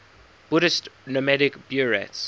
buddhist nomadic buryats